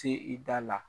Se i da la